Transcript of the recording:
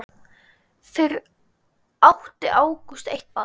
Fyrir átti Ágúst eitt barn.